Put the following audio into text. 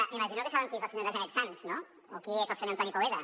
m’imagino que saben qui és la senyora janet sanz no o qui és el senyor antoni poveda